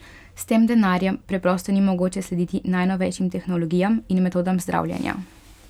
S tem denarjem preprosto ni mogoče slediti najnovejšim tehnologijam in metodam zdravljenja.